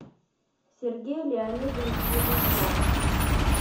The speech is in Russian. сергей леонидович железняк